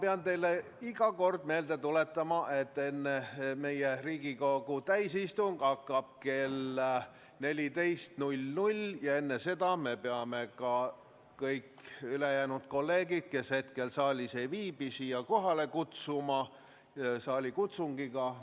Ma pean teile iga kord meelde tuletama, et Riigikogu täiskogu istung hakkab kell 14 ja enne seda me peame kõik kolleegid, kes hetkel saalis ei viibi, saalikutsungiga kohale kutsuma.